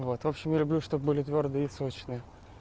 вот в общем я люблю чтобы были твёрдые и сочные